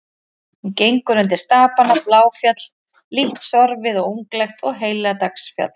Hún gengur undir stapana Bláfjall, lítt sorfið og unglegt, og Heilagsdalsfjall.